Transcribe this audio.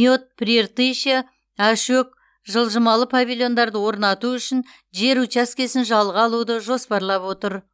мед прииртышья ашөк жылжымалы павильондарды орнату үшін жер учаскесін жалға алуды жоспарлап отыр